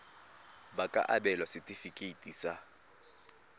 ba ka abelwa setefikeiti sa